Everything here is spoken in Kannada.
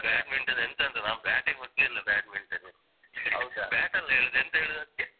ನಂಗೆ badminton ಎಂತಂತ ಆ bat ಯೆ ಮುಟ್ಲಿಲ್ಲ badminton bat ಅಲ್ಲ ಹೇಳುದು ಎಂತ ಹೇಳುದು ಅದ್ಕೆ?